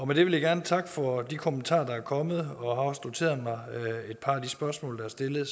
med det vil jeg gerne takke for de kommentarer der er kommet og jeg har også noteret mig et par af de spørgsmål der er stillet